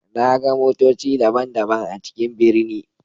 Na ga motoci daban-daban a cikin birni.